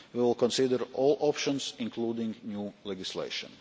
We will consider all options, including new legislation.